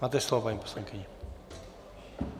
Máte slovo, paní poslankyně.